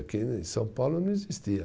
Aqui em São Paulo não existia.